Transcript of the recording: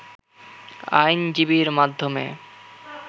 আইনজীবীর মাধ্যমে